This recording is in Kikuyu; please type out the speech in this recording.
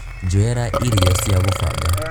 njoera irio cia gūfanga